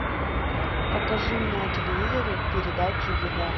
покажи мне на телевизоре передачу еда